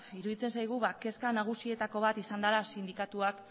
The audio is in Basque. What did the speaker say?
iruditzen zaigu kezka nagusietako bat izan dela sindikatuak